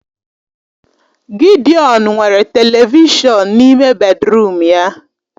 Gidiọn nwere televishọn n'ime bedịrum ya